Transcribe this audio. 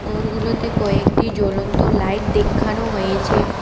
ঘরগুলোতে কয়েকটি জ্বলন্ত লাইট দেখ্যানো হয়েছে।